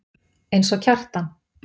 Eins og Kjartan.